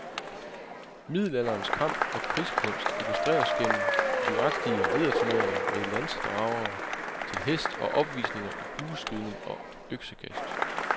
Middelalderens kamp og krigskunst illustreres gennem livagtige ridderturneringer med lansedragere til hest og opvisninger i bueskydning og øksekast.